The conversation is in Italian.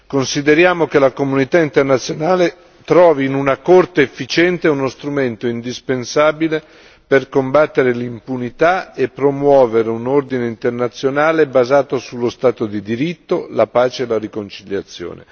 Consideriamo che la comunità internazionale trovi in una Corte efficiente uno strumento indispensabile per combattere l'impunità e promuovere un ordine internazionale basato sullo stato di diritto, la pace e la riconciliazione.